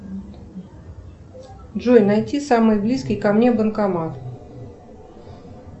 джой найти самый близкий ко мне банкомат